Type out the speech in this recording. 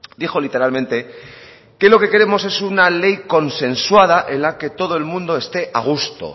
dijo literalmente que lo que queremos es una ley consensuada en la que todo el mundo esté a gusto